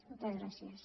moltes gràcies